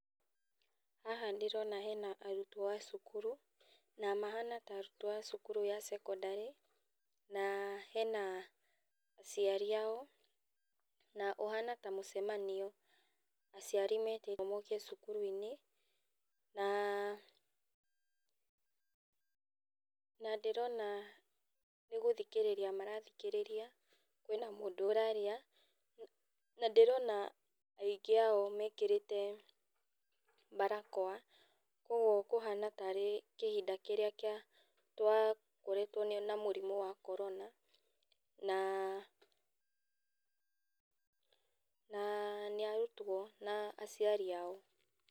Haha ndĩrona hena arutwo a cukuru, na mahana ta arutwo a cukuru ya thekondarĩ na hena aciari ao, na ũhana ta hena mũcamanio aciari metĩirwo moke cukuru-inĩ, na ndĩrona nĩ gũthikĩrĩria marathikĩrĩria, kwĩna mũndũ ũrarĩa, na ndĩrona aingĩ ao mekĩrĩte barakoa koguo ndĩrona kũhana tarĩ kĩhinda kĩrĩa twakoretwo na mũrimũ wa korona. Na nĩ arutwo na aciari ao.